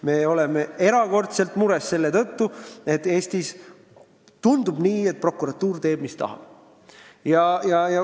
Me oleme erakordselt mures selle tõttu, et Eestis tundub nii, et prokuratuur teeb, mis tahab.